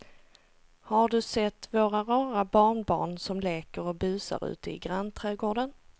Har du sett våra rara barnbarn som leker och busar ute i grannträdgården!